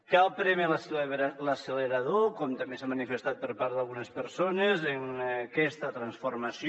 cal prémer l’accelerador com també s’ha manifestat per part d’algunes persones en aquesta transformació